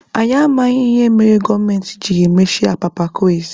Anyị amaghị ihe mere gọọmenti jiri mechie apapa kways.